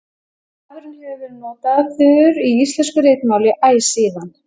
Stafurinn hefur verið notaður í íslensku ritmáli æ síðan.